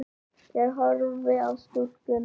Ég horfi á stúlkuna.